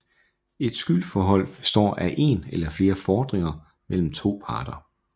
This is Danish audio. Et skyldforhold består af en eller flere fordringer mellem to parter